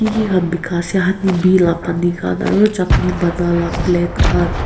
ki kan pekai ase honeybee laga pani kan aro chatney bonai laga plate kan.